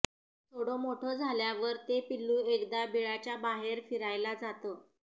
थोडं मोठं झाल्यावर ते पिल्लू एकदा बिळाच्या बाहेर फिरायला जातं